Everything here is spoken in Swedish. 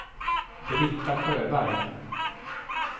Britta Sjöberg